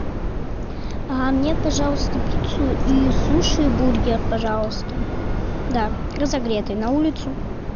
мне пожалуйста пиццу и суши бургер пожалуйста да разогретый на улицу